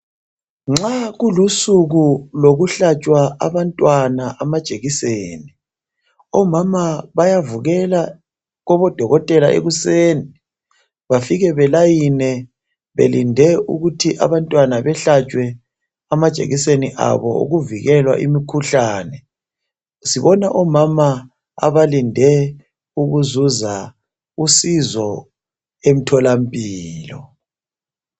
Nxa kulusuku lokuhlatshwa abantwana amajekiseni , omama bayavukela kobodokotela ekuseni bafike belayine belinde ukuthi abantwnana behlatshwe amajekiseni abo okuvikelwa imikhuhlane. Sibona omama abalinde ukuzuza usizo emtholampilo.